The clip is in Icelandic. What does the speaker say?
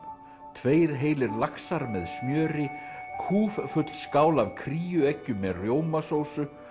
tveir heilir laxar með smjöri skál af með rjómasósu